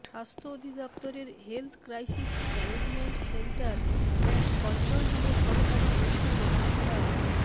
স্বাস্থ্য অধিদফতরের health crisis management centre and কন্ট্রোলরুমের সহকারী পরিচালক ডা